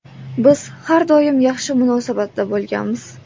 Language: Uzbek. Biz har doim yaxshi munosabatda bo‘lganmiz.